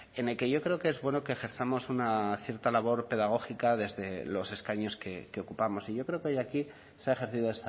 en el que yo creo que es bueno que ejerzamos una cierta labor pedagógica desde los escaños que ocupamos y yo creo que hoy aquí se ha ejercido